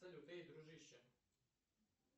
салют эй дружище